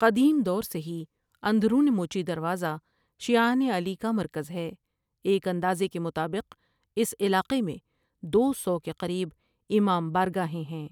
قدیم دور سے ہی اندرون موچی دروازہ شعیان علیۿ کا مرکز ہے ایک اندازے کے مطابق اس علاقے میں دو سو کے قریب امام بارگاہیں ہیں ۔